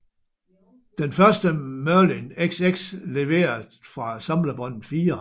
Den første Merlin XX leveret fra samlebåndet 4